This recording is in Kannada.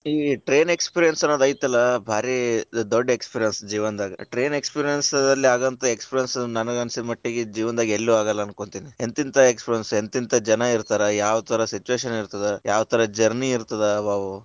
ಈ train experience ಅನ್ನೋದ್ ಐತಲ್ಲಾ, ಬಾರಿ ದೊಡ್ಡ experience ಜೀವನದಾಗ, train experience ದಲ್ಲಿ ಆಗೋವಂತಾ experience ನನಗ ಅನಸಿದ ಮಟ್ಟಿಗ್ಗೆ ಜೀವನದಾಗ ಎಲ್ಲಿ ಆಗಲ್ಲಾ ಅನ್ಕೊಂತೀನಿ ಎಂತಿಂತಾ experience ಎಂತೆಂತ ಜನಾ ಇರ್ತಾರ, ಯಾವತರಾ situation ಇರತದ, ಯಾವ ತರಾ journey ಇರತದ.